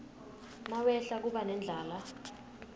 nawehla kuba nendlala